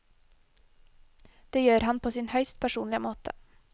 Det gjør han på sin høyst personlige måte.